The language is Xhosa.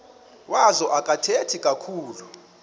wazo akathethi kakhulu